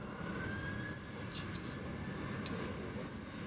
matshilisano u itela u vha